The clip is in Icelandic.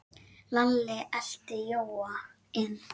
Lalli elti Jóa inn.